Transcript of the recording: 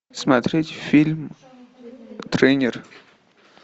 смотреть фильм тренер